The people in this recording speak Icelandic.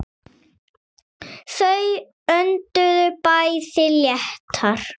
Þau önduðu bæði léttar.